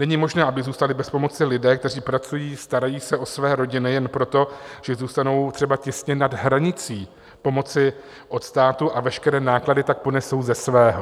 Není možné, aby zůstali bez pomoci lidé, kteří pracují, starají se o své rodiny, jen proto, že zůstanou třeba těsně nad hranicí pomoci od státu a veškeré náklady tak ponesou ze svého.